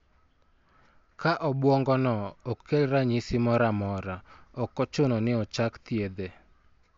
Ka obwongono ok kel ranyisi moro amora, ok ochuno ni ochak thiedhe.